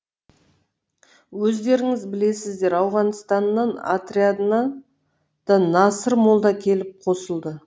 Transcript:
өздеріңіз білесіздер ауғанстан отрядына да насыр молда келіп қосылды